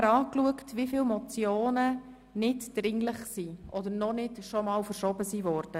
Wir haben nachgesehen, wie viele Motionen nicht dringlich sind oder noch nie verschoben wurden.